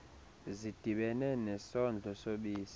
zidibene nesondlo sobisi